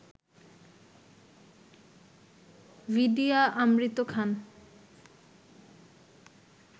Vidya Amrit Khan